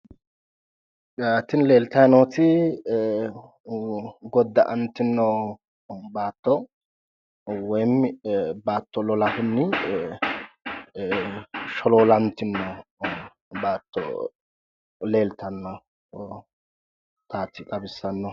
Tini leeltayi nooti godda"antino baatto woyimi baatto lolahunni sholoolantino baatto leeltannotaati xawissannohu